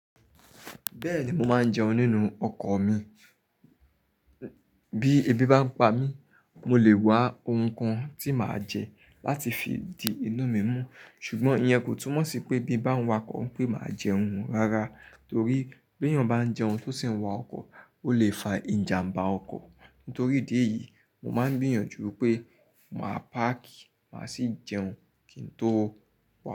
Bẹ́ẹ̀ni mo máa ń jẹun nínú ọkọ̀ mi. Bí ebi bá ń pa mí, mo lè wá ohun kan tí màá jẹ láti fi di inú mi mú. Ṣùgbọ́n iyen kò túmọ̀ sí pé bí bá ń wa ọkọ̀ pé màá jẹun rara, torí bí èèyàn bá ń jẹun tó sì ń wa ọkọ̀, ó lè fa ìjàmbá ọkọ̀. Nítorí ìdí èyí, mo máa ń gbìyànjú pé màá páàkì, màá sì jẹun kí n tó wọ̀